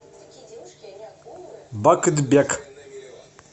бакытбек